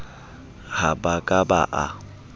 ha ba ka ba a